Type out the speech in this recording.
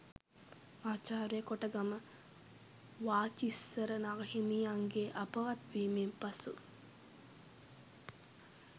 මහාචාර්ය කොටගම වාචිස්සර නාහිමියන්ගේ අපවත් වීමෙන් පසු